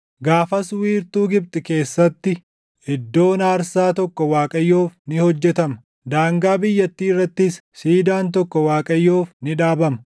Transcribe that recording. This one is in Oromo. Gaafas wiirtuu Gibxi keessatti iddoon aarsaa tokko Waaqayyoof ni hojjetama; daangaa biyyattii irrattis siidaan tokkoo Waaqayyoof ni dhaabama.